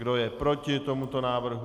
Kdo je proti tomuto návrhu?